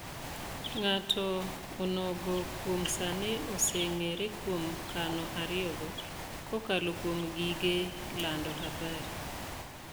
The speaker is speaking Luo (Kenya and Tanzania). Ng'ato onogo kuom sani oseng'ere kuom kano ariyo go, kokalo kuom gige lando habari